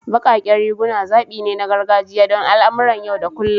Baƙaƙen riguna zaɓi ne na gargajiya don al'amuran yau da kullun.